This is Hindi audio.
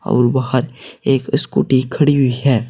और बाहर एक स्कूटी खड़ी हुई है।